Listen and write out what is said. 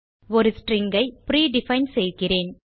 ஒரு ஸ்ட்ரிங் ஐ பிரீடிஃபைன் செய்கிறேன்